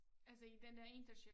Altså i den dér internaship